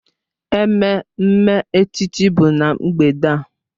Ememme echichi bụ na mgbede a.